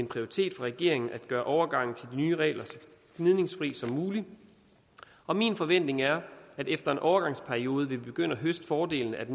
prioritet for regeringen at gøre overgangen til nye regler så gnidningsfri som muligt og min forventning er at efter en overgangsperiode vil vi begynde at høste fordelene af